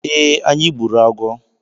Ee, anyị gburu agwọ